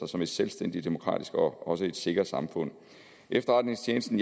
som et selvstændigt demokratisk og også sikkert samfund efterretningstjenesten